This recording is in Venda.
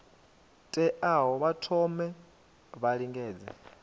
teaho vha thome vha lingedze